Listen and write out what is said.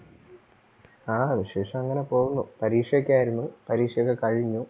ആ വിശേഷം അങ്ങനെ പോകുന്നു. പരീക്ഷ ഒക്കെ ആരുന്നു പരീക്ഷ ഒക്കെ കഴിഞ്ഞു.